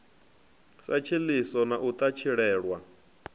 sa tshiḽiso na u ṱatshilelwa